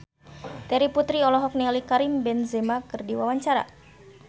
Terry Putri olohok ningali Karim Benzema keur diwawancara